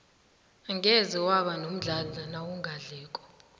angeze waba nomdlandla nawungadliko